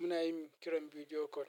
Muna yin kiran video call.